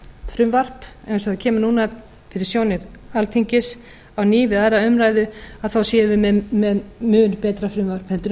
frumvarp eins og það kemur núna fyrir sjónir alþingis á ný við aðra umræðu séum við með mun betra frumvarp en við